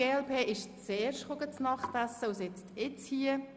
Die Mitglieder der Jungen Grünliberalen haben zuerst gegessen und sind jetzt hier.